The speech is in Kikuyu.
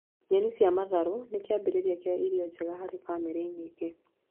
Nyeni cia matharũ nĩ kĩambĩrĩria kĩa irio njega harĩ bamĩrĩ nyingĩ